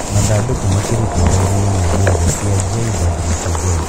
Mathandũkũ makirutwo rori-inĩ nĩ mbirarũ cia JWTZ